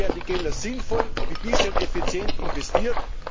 So werden die Gelder sinnvoll wie bisher und effizient investiert.